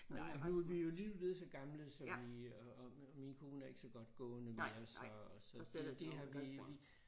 Nej nu vi jo alligevel blevet så gamle så vi og og min kone er ikke så godt gående mere så så det det har vi vi